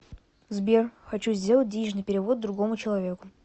сбер хочу сделать денежный перевод другому человеку